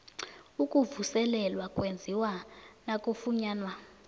ukuvuselelwa kwenziwa nakufunyanwa